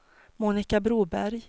Monika Broberg